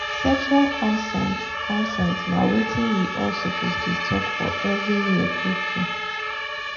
sexual consent consent na watin we all suppose dey talk for everywhere true true.